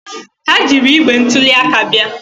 Ha jiiri igbe ntuli aka bịa.